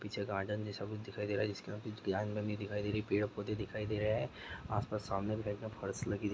पीछे गार्डन जैसा कुछ दिखाई दे रहा हैजिसके अन्दर कुछ दिखाई दे रही है पेड़ पौधे दिखाईं दे रहा है आसपास सामने फर्श लगी--